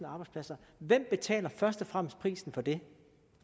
arbejdspladser hvem betaler først og fremmest prisen for det